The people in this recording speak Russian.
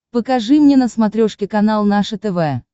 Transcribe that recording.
покажи мне на смотрешке канал наше тв